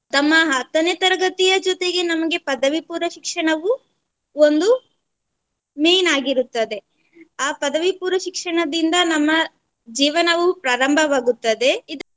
ತಮ್ಮ ಹತ್ತನೆ ತರಗತಿಯ ಜೊತೆಗೆ ನಮಗೆ ಪದವಿ ಪೂರ್ವ ಶಿಕ್ಷಣವೂ ಒಂದು main ಆಗಿರುತ್ತದೆ ಆ ಪದವಿ ಪೂರ್ವ ಶಿಕ್ಷಣದಿಂದ ನಮ್ಮ ಜೀವನವೂ ಪ್ರಾರಂಭವಾಗುತ್ತದೆ.